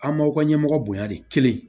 An m'aw ka ɲɛmɔgɔ bonya de kelen